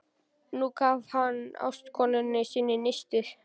Nú gaf hann ástkonu sinni nistið.